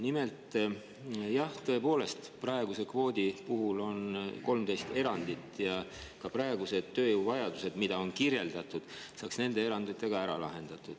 Nimelt, jah, tõepoolest, praeguse kvoodi puhul on 13 erandit ja ka praegused tööjõuvajadused, mida on kirjeldatud, saaks nende eranditega ära lahendatud.